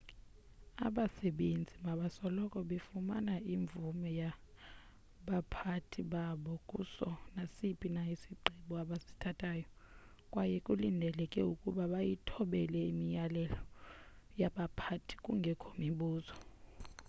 abasebenzi mabasoloko befumane imvume yabaphathi babo kuso nasiphi na isigqibo abasithathayo kwaye kulindeleke ukuba bayithobele imiyalelo yabaphathi kungekho mibuzo